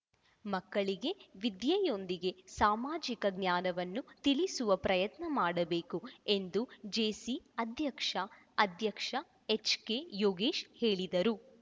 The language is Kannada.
ಮಕ್ಕಳಿಗೆ ವಿದ್ಯೆಯೊಂದಿಗೆ ಸಾಮಾಜಿಕ ಜ್ಞಾನವನ್ನು ತಿಳಿಸುವ ಪ್ರಯತ್ನ ಮಾಡಬೇಕು ಎಂದು ಜೇಸಿ ಅಧ್ಯಕ್ಷ ಅಧ್ಯಕ್ಷ ಎಚ್‌ಕೆ ಯೋಗೇಶ್‌ ಹೇಳಿದರು